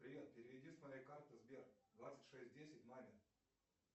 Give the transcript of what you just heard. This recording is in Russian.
привет переведи с моей карты сбер двадцать шесть десять маме